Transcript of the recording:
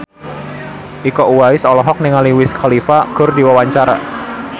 Iko Uwais olohok ningali Wiz Khalifa keur diwawancara